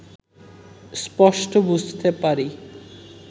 স্পষ্ট বুঝতে পারি